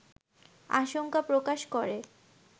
আশঙ্কা প্রকাশ করে